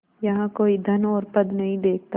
यहाँ कोई धन और पद नहीं देखता